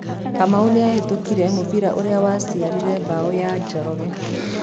Kamau nĩ Nĩahĩtũkirie mũbira ũrĩa waciarire mbao ya Njoroge